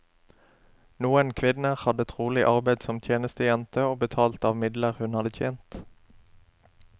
Noen kvinner hadde trolig arbeid som tjenestejente og betalte av midler hun hadde tjent.